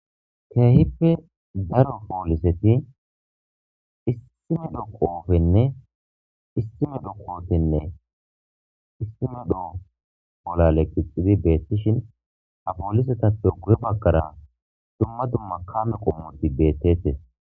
Keehippe daro pooliseti issime do qoofenne istime do kootenne istime doo bolale qixidi beettishin ha poolisetappe guhe baggara dumma dumma kame qommoti beettetes